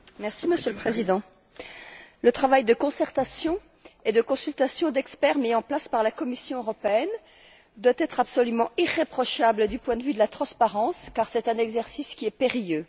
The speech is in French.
Monsieur le Président, le travail de concertation et de consultation d'experts mis en place par la Commission européenne doit être absolument irréprochable du point de vue de la transparence car c'est un exercice périlleux.